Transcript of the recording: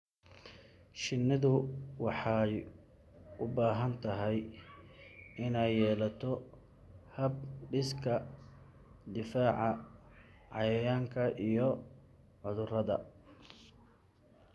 Shinnidu waxay u baahan tahay inay yeelato hab-dhiska difaaca cayayaanka iyo cudurrada.